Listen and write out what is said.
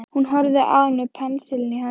Hún horfði á hann með pensilinn í höndunum.